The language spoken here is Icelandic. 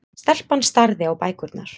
Stelpan starði á bækurnar.